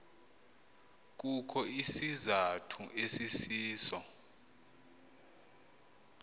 kukho isizathu esisiso